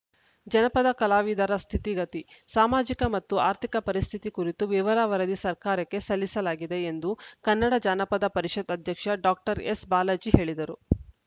ಜನಪದ ಕಲಾವಿದರ ಸ್ಥಿತಿಗತಿ ಸಾಮಾಜಿಕ ಮತ್ತು ಆರ್ಥಿಕ ಪರಿಸ್ಥಿತಿ ಕುರಿತು ವಿವರ ವರದಿ ಸರ್ಕಾರಕ್ಕೆ ಸಲ್ಲಿಸಲಾಗಿದೆ ಎಂದು ಕನ್ನಡ ಜಾನಪದ ಪರಿಷತ್‌ ಅಧ್ಯಕ್ಷ ಡಾಕ್ಟರ್ ಎಸ್‌ಬಾಲಾಜಿ ಹೇಳಿದರು